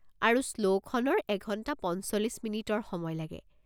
আৰু শ্ল'খনৰ এক ঘণ্টা পঞ্চল্লিশ মিনিটৰ সময় লাগে।